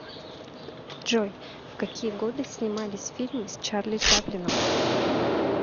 джой в какие годы снимались фильмы с чарли чаплином